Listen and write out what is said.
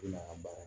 I n'a baara